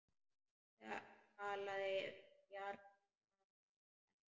Talaði bjagaða ensku: